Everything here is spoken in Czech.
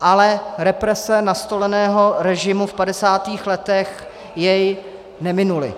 ale represe nastoleného režimu v 50. letech jej neminuly.